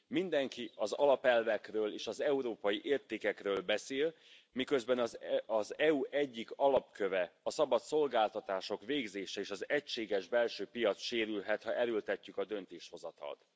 Mindenki az alapelvekről és az európai értékekről beszél, miközben az EU egyik alapköve, a szabad szolgáltatások végzése, és az egységes belső piac sérülhet, ha erőltetjük a döntéshozatalt.